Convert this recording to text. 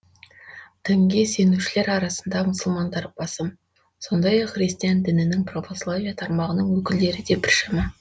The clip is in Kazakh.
дінге сенушілер арасында мұсылмандар басым сондай ақ христиан дінінің православие тармағының өкілдері де біршама